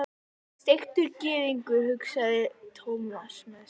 Steiktur gyðingur, hugsaði Thomas með sér.